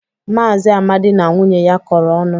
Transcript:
Maazị Amadi na nwunye ya kọrọ ọnụ.